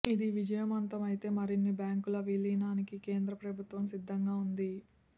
ఇది విజయవంతమైతే మరిన్ని బ్యాంకుల విలీనానికి కేంద్ర ప్రభుత్వం సిద్ధంగా ఉంది